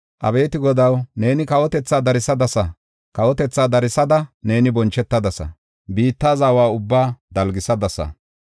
Abeeti Godaw, neeni kawotethaa darsadasa; kawotethaa darsada neeni bonchetadasa; biitta zawa ubbaa dalgisadasa.